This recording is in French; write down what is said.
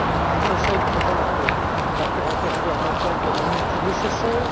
Le Conseil présente l'accord intergouvernemental comme un outil nécessaire.